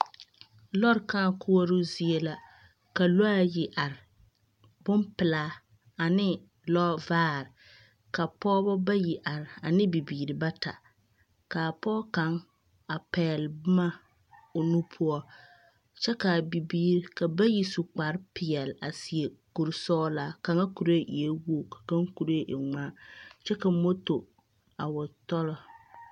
Lɔre kãã koɔroo zie la. Ka lɔɛ ayi are, bompelaa ane lɔvaare, ka pɔgbɔ bayi are ane bibiiri bata, ka a pɔge kaŋ a pɛgle boma o nu poɔ, kyɛ ka a bibiiri ka bayi su kparepeɛle a seɛ kuri sɔgelaa kaŋa kuree eɛ wogi ka kaŋ kuree e ŋmaa kyɛ ka moto a wa tɔlɔ.